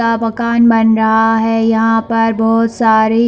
मकान बन रहा है यहाँ पर बहोत सारी--